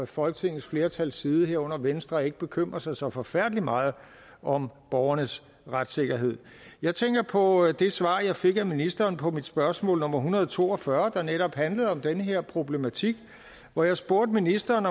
folketingets flertals side herunder venstre ikke bekymrer sig så forfærdelig meget om borgernes retssikkerhed jeg tænker på det svar jeg fik af ministeren på mit spørgsmål nummer en hundrede og to og fyrre der netop handlede om den her problematik og hvor jeg spurgte ministeren